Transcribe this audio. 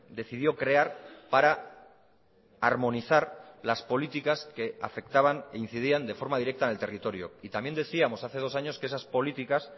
decidió crear para armonizar las políticas que afectaban e incidían de forma directa en el territorio y también decíamos hace dos años que esas políticas